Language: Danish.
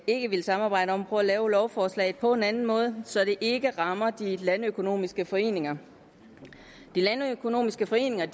ikke at ville samarbejde om at prøve at lave lovforslaget på en anden måde så det ikke rammer de landøkonomiske foreninger de landøkonomiske foreninger